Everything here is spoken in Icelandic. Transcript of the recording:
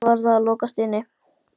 Kannski var það að lokast inni?